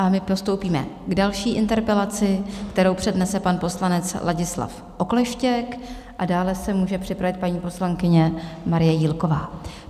A my postoupíme k další interpelaci, kterou přednese pan poslanec Ladislav Okleštěk, a dále se může připravit paní poslankyně Marie Jílková.